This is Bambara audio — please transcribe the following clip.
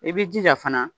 I b'i jija fana